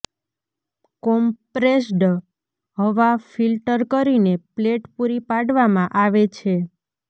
compressed હવા filter કરીને plate પૂરી પાડવામાં આવે છે